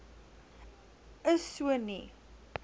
is so nie